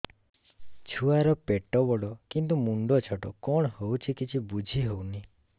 ଛୁଆର ପେଟବଡ଼ କିନ୍ତୁ ମୁଣ୍ଡ ଛୋଟ କଣ ହଉଚି କିଛି ଵୁଝିହୋଉନି